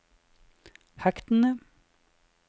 hektene